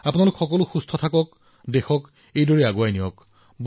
আপোনালোক সকলোৱে স্বাস্থ্যৱান হওক দেশখন আগবাঢ়ি থাকক